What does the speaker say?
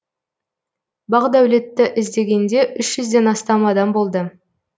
бақдәулетті іздегенде үш жүзден астам адам болды